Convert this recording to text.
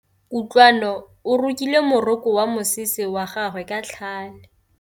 Kutlwanô o rokile morokô wa mosese wa gagwe ka tlhale.